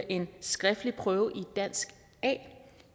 en skriftlig prøve i dansk a